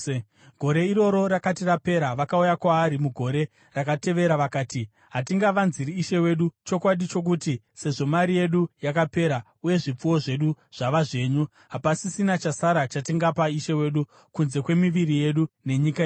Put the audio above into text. Gore iroro rakati rapera, vakauya kwaari mugore rakatevera vakati, “Hatingavanziri ishe wedu chokwadi chokuti sezvo mari yedu yakapera uye zvipfuwo zvedu zvava zvenyu, hapasisina chasara chatingapa ishe wedu kunze kwemiviri yedu nenyika yedu.